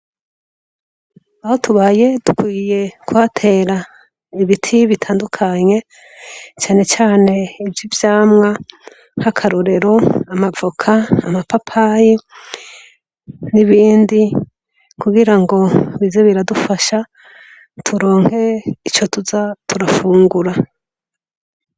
Aho tubaye dukwiye kuhatera ibiti bitandukanye canecane ivy'ivyamwa k'akarorero amavoka amapapayi n'ibindi kugira ngo bize biradufasha turonke ico tuza turafungura.